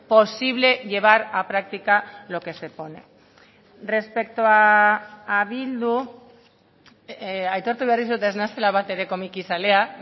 posible llevar a práctica lo que se pone respecto a bildu aitortu behar dizut ez naizela bat ere komikizalea